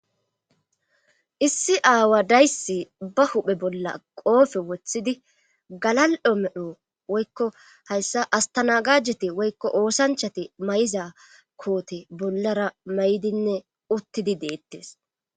Issi aaway dayssi ba huuphe bolla qoobe wothidi galal7o medho woykko hayssan asttanagajeti woykko oosanchati mayiza koote bollara mayidineuttidi deettes